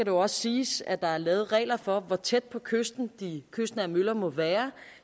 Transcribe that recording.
jo også siges at der er lavet regler for hvor tæt på kysten de kystnære møller må være